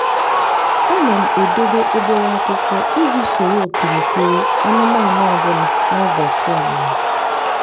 ana m edobe obere akwụkwọ iji soro okirikiri anụmanụ ọ bụla na ụbọchị ọmụmụ.